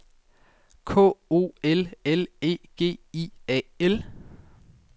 K O L L E G I A L